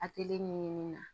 A tɛ ɲinini na